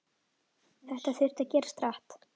Þetta þurfti að gerast hratt.